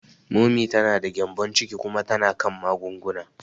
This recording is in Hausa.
Momi ta da gyembon ciki kuma tana kan magunguna.